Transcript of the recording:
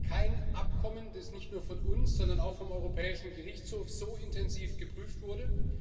Es gibt kein Abkommen, das nicht nur von uns, sondern auch vom Europäischen Gerichtshof so intensiv geprüft wurde.